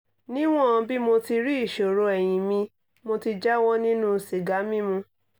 níwọ̀n bí mo ti rí ìṣòro ẹ̀yin mi mo ti jáwọ́ nínú sìgá mímu